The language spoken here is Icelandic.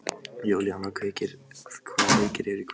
Júlíana, hvaða leikir eru í kvöld?